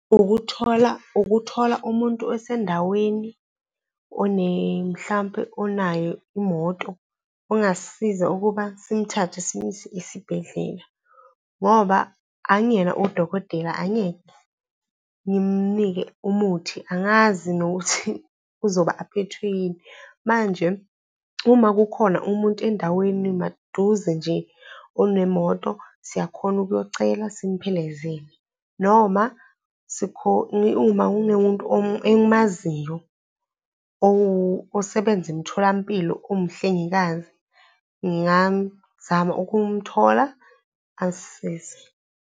Ukuthola, ukuthola umuntu osendaweni, mhlampe onayo imoto ongasisiza ukuba simuthathe simuyise esibhedlela. Ngoba angiyena odokotela, angeke ngimunike umuthi, angazi nokuthi uzoba aphethwe yini. Manje uma kukhona umuntu endaweni maduze nje onemoto, siyakhona ukuyocela simphelezele. Noma uma kunemuntu engimaziyo osebenza emtholampilo umhlengikazi ngingamzama ukumthola asisize.